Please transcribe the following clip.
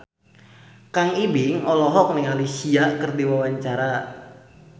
Kang Ibing olohok ningali Sia keur diwawancara